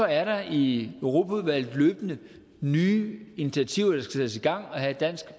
er der i europaudvalget løbende nye initiativer der skal sættes i gang og have dansk